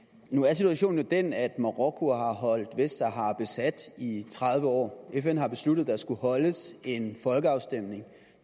nu er situationen jo den at marokko har holdt vestsahara besat i tredive år fn har besluttet at der skal afholdes en folkeafstemning